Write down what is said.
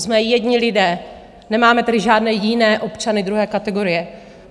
Jsme jedni lidé, nemáme tedy žádné jiné občany druhé kategorie.